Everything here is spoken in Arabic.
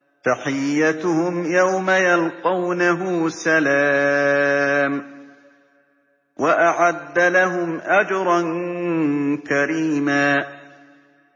تَحِيَّتُهُمْ يَوْمَ يَلْقَوْنَهُ سَلَامٌ ۚ وَأَعَدَّ لَهُمْ أَجْرًا كَرِيمًا